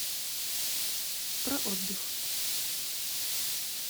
проотдых